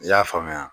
I y'a faamuya